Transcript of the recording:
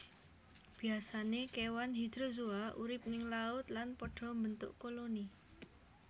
Biasané kewan Hydrozoa urip ning laut lan pada mbentuk koloni